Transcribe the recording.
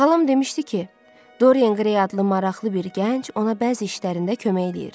Xalam demişdi ki, Dorian Gray adlı maraqlı bir gənc ona bəzi işlərində kömək edir.